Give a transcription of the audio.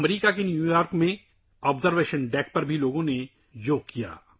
New York, امریکا میں observation deck پر بھی لوگوں نے یوگا کیا